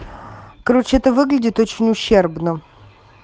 короче это выглядит очень ущербно